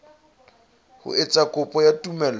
ho etsa kopo ya tumello